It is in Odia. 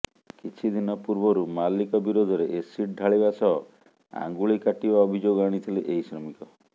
କିଛିଦିନ ପୂର୍ବରୁ ମାଲିକ ବିରୋଧରେ ଏସିଡ୍ ଢାଳିବା ସହ ଆଙ୍ଗୁଳି କାଟିବା ଅଭିଯୋଗ ଆଣିଥିଲେ ଏହି ଶ୍ରମିକ